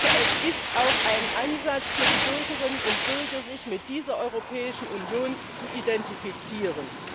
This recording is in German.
Es ist auch ein Ansatz für die Bürgerinnen und Bürger, sich mit dieser Europäischen Union zu identifizieren.